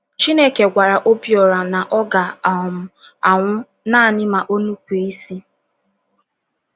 Chineke gwara Obiora na ọ ga - um anwụ naanị ma o nupụ isi.